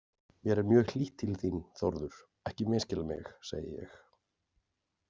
Mér er mjög hlýtt til þín, Þórður, ekki misskilja mig, segi ég.